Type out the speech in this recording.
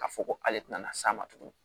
K'a fɔ ko ale tɛna na s'a ma tuguni